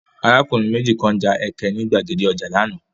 Arákùnrin méjì kan ja ẹkẹ ní gbàgede ọjà lánàá.